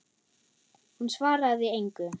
Hún svaraði engu.